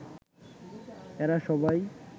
এরা সবাই